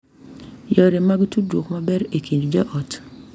Yore mar tudruok maber e kind joot